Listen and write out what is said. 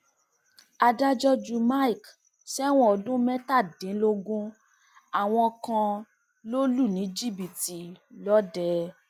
adájọ ju mike sẹwọn ọdún mẹtàdínlógún àwọn kan lọ lù ní jìbìtì lọdẹ